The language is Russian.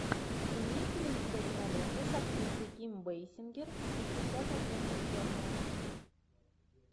имеется ли у тебя кинолента с актрисой ким бейсингер пятьдесят оттенков черного